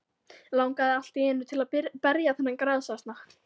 Langaði allt í einu til að berja þennan grasasna.